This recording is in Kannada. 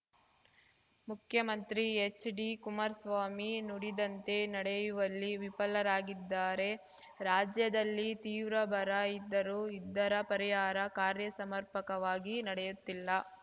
ಮುಖ್ಯಮಂತ್ರಿ ಎಚ್‌ಡಿ ಕುಮಾರ್ಸ್ವಾಮಿ ನುಡಿದಂತೆ ನಡೆಯುವಲ್ಲಿ ವಿಫಲರಾಗಿದ್ದಾರೆ ರಾಜ್ಯದಲ್ಲಿ ತೀವ್ರ ಬರ ಇದ್ದರೂ ಇದರ ಪರಿಹಾರ ಕಾರ್ಯ ಸಮರ್ಪಕವಾಗಿ ನಡೆಯುತ್ತಿಲ್ಲ